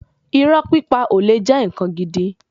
Irọ́ pípa ò le jẹ́ ǹkan gidi.